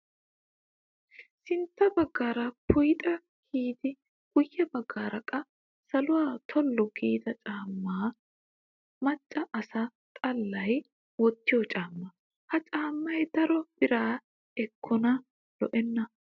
Sintta baggaara puyixaa kiyidi guyye baggaara qa saluwaa tollu giida macca asa xallayi wottiyoo caammaa. Ha caammayi daro bira ekkikonne lo"enna.